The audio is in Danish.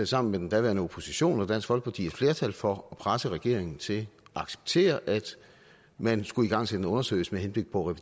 sammen med den daværende opposition og dansk folkeparti et flertal for at presse regeringen til at acceptere at man skulle igangsætte en undersøgelse med henblik på at